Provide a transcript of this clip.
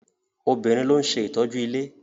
Obìnrin ló ń ṣe ìtọ́jú ilé.